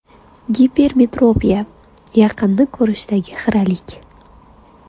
Gipermetropiya: yaqinni ko‘rishdagi xiralik.